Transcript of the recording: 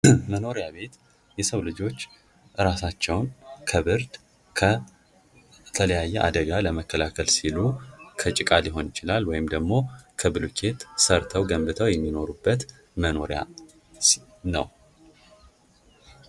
መኖሪያ ቤት የሰው ልጆች ራሳቸውን ከብርድ ከተለያየን አደጋ ለመከላከል ሲሉ ከጭቃ ሊሆን ይችላል ወይንም ደግም ከብሎኬት ሰርተው ገንብተው የሚኖሩበት መኖሪያ ነው::